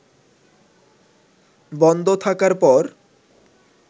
বন্ধ থাকার পর